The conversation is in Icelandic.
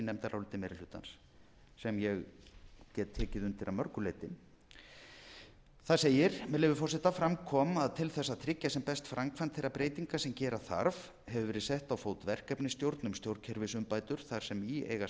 meiri hlutans sem ég get tekið undir að mörgu leyti þar segir með leyfi forseta fram kom að til þess að tryggja sem best framkvæmd þeirra breytinga sem gera þarf hefur verið sett á fót verkefnisstjórn um stjórnkerfisumbætur þar sem í eiga sæti